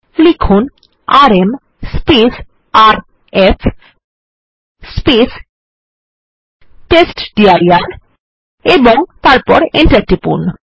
লিখুন rm RF টেস্টডির এবং তারপর Enter টিপুন